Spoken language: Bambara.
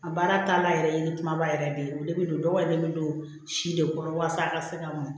A baara taalan yɛrɛ ye kumaba yɛrɛ de ye o de bɛ don dɔgɔden don si de kɔrɔ walasa a ka se ka mɔn